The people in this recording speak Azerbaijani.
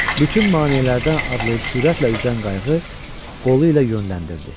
Bütün maneələrdən adlayıb sürətlə üzən qayıq qolu ilə yönləndirdi.